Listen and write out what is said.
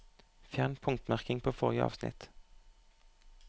Fjern punktmerking på forrige avsnitt